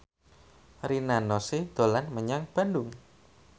Rina Nose dolan menyang Bandung